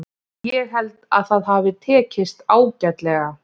Ég held að það hafi tekist ágætlega.